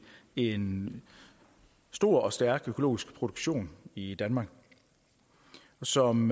en stor og stærk økologisk produktion i danmark som